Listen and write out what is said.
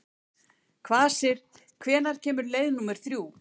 Kvasir, hvenær kemur leið númer þrjú?